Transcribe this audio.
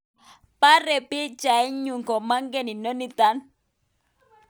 Pare pichait nyu, komakanye naniton